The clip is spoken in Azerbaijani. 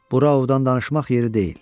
Bura ovdan danışmaq yeri deyil.